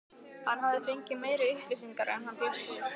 Hann hafði fengið meiri upplýsingar en hann bjóst við.